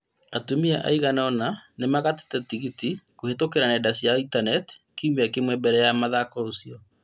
Atumia aiganona nĩmagatĩte tigiti kũhetũkĩra nenda cia intaneti kiumia kĩmwe mbere ya mũthako ũcio